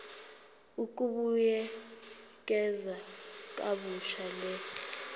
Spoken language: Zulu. ukubuyekeza kabusha le